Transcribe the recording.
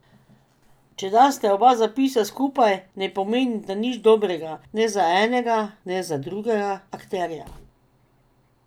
Če daste oba zapisa skupaj, ne pomenita nič dobrega, ne za enega ne za drugega akterja!